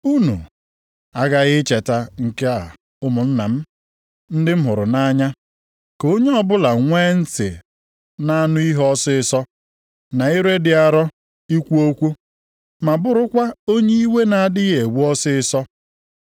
Unu aghaghị icheta nke a ụmụnna m ndị m hụrụ nʼanya. Ka onye ọbụla nwee ntị na-anụ ihe ọsịịsọ, na ire dị arọ ikwu okwu, ma bụrụkwa onye iwe na-adịghị ewe ọsịịsọ.